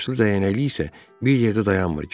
Üçbaşlı dərəcəlik isə bir yerdə dayanmır.